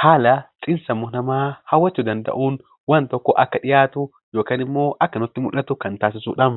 haala xiinsammuu namaa haala nama hawwatuu danda'uun waan tokko akka dhiyaatu yookaan immoo akka nutti mul'atu kan taasisudha.